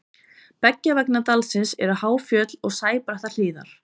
beggja vegna dalsins eru há fjöll og sæbrattar hlíðar